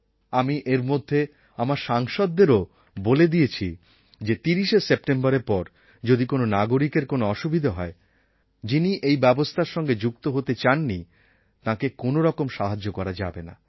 আমি এর মধ্যে আমার সাংসদদেরও বলে দিয়েছি যে ৩০শে সেপ্টেম্বরের পর যদি কোন নাগরিকের কোনও অসুবিধা হয় যিনি এই ব্যবস্থার সঙ্গে যুক্ত হতে চাননি তাঁকে কোনও রকম সাহায্য করা যাবে না